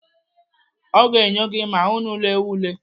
Ọ ga-enyo gị ma unu lewa ule.